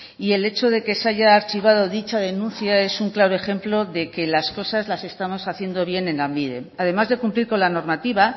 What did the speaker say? y el hecho de que se haya archivado dicha denuncia es un claro ejemplo de que las cosas las estamos haciendo bien en lanbide además de cumplir con la normativa